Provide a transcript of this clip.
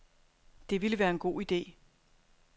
Det ville være en god idé.